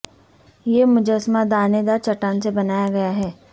یہ مجسمہ دانے دار چٹان سے بنایا گیا ہے